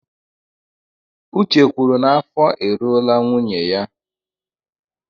Uche kwuru n'afọ e ruola nwunye ya.